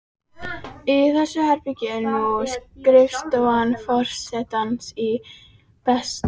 Í þessu herbergi er nú skrifstofa forsetans á Bessastöðum.